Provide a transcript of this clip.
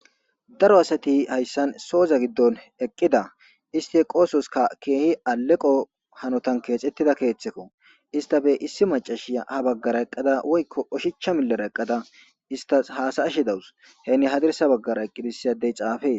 Daro asati haysan soza gidon eqida isti eqososka kehi aleqon kexetida ketheko issitzppe issi mac'ashaya istappe habagara woykon oshacha bagara eqada istas hasayashe dawusi oshicha bagara eqidi issi addezi xaffes.